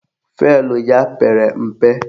Fụelụ ya pere mpe